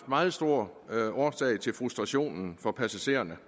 meget stor frustration for passagererne